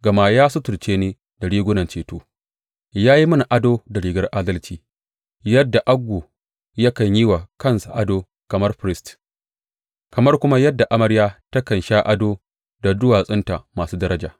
Gama ya suturce ni da rigunan ceto ya yi mini ado da rigar adalci, yadda ango yakan yi wa kansa ado kamar firist kamar kuma yadda amarya takan sha ado da duwatsunta masu daraja.